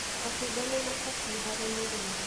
Matunda nĩmabatie harĩ mũrĩre